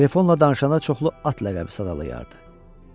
Telefonla danışanda çoxlu at ləqəbi sadalayırdı.